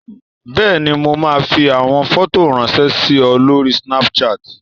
Bẹ́ẹ̀ni, mo máa fi àwọn fọ́tò ráńṣẹ́ sí ọ lórí Snapchat.